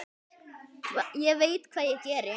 Ég veit hvað ég geri.